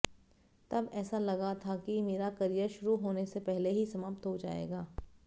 तब ऐसा लगा था कि मेरा कॅरियर शुरू होने से पहले ही समाप्त हो जाएगा